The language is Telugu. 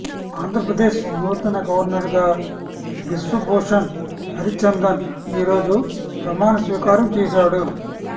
ఆంధ్రప్రదేశ్ నూతన గవర్నర్ గా బిశ్వభూషణ్ హరిచందన్ ఈ రోజు ప్రమాణస్వీకారం చేశాడు